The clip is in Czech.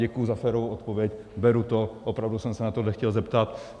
Děkuju za férovou odpověď, beru to, opravdu jsem se na tohle chtěl zeptat.